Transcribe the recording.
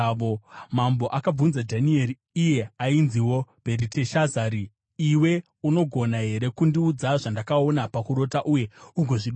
Mambo akabvunza Dhanieri (iye ainziwo Bheriteshazari), “Iwe unogona here kundiudza zvandakaona pakurota uye ugozvidudzira?”